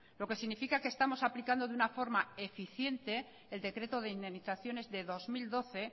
lo que significa que estamos aplicando de una forma eficiente el decreto de indemnizaciones de dos mil doce